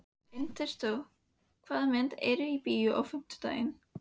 Ernestó, hvaða myndir eru í bíó á fimmtudaginn?